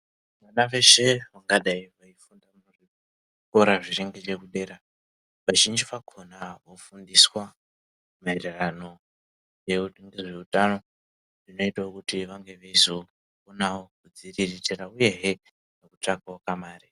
Vana veshe vangadai vei funda mu zvikora zvinenge zveku dera vazhinji vakona vo fundiswa maererano ngezve utano zvinoitawo kuti vange veizo onawo kudzi riritira uyehe neku tsvakawo kamarai.